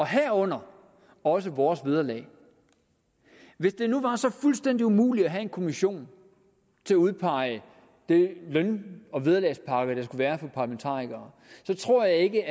herunder også vores vederlag hvis det nu var så fuldstændig umuligt at have en kommission til at udpege de løn og vederlagspakker der være for parlamentarikere så tror jeg ikke